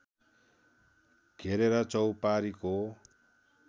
घेरेर चौपारीको